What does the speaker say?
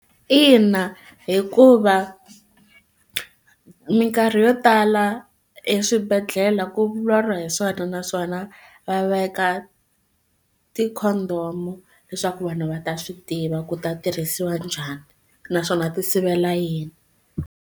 Ina hikuva minkarhi yo tala eswibedhlele ku vulavuriwa hi swona naswona va veka ti condom leswaku vanhu va ta swi tiva ku ta tirhisiwa njhani naswona ti sivela yini.